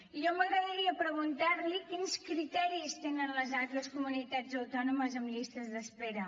i a mi m’agradaria preguntar li quins criteris tenen les altres comunitats autònomes en llistes d’espera